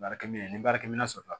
Baarakɛ minɛ ni baarakɛminɛn sɔrɔla